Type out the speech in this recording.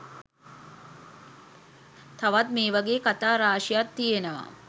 තවත් මේ වගේ කතා රාශියක් තියෙනවා.